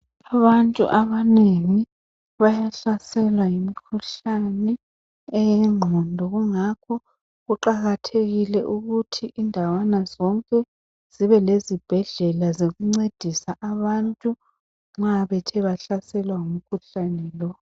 Abantu abanengi bayahlaselwa yimkhuhlane eyengqondo kungakho kuqakathekile ukuthi indawana zonke zibe lezibhedlela zokuncedisa abantu nxa bethe bahlaselwa ngumkhuhlane lo.